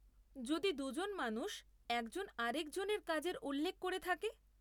যদি দুজন মানুষ একজন আরেকজনের কাজের উল্লেখ করে থাকে?